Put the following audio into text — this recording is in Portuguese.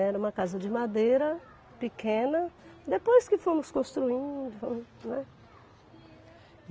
Era uma casa de madeira pequena, depois que fomos construindo, fomos, né.